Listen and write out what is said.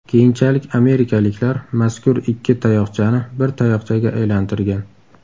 Keyinchalik amerikaliklar mazkur ikki tayoqchani bir tayoqchaga aylantirgan.